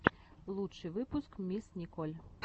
лучший выпуск мисс николь